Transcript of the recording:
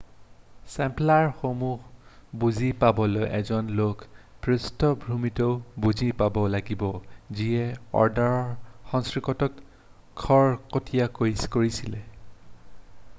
টেম্প্লাৰসমূহ বুজি পাবলৈ এজন লোকে পৃষ্টভূমিটো বুজি পাব লাগিব যিয়ে অৰ্ডাৰৰ সৃষ্টিটোক খৰতকীয়া কৰিছিল৷